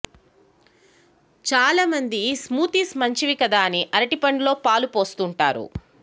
చాలా మంది స్మూతీస్ మంచివి కదా అని అరటిపండులో పాలు పోస్తుంటారు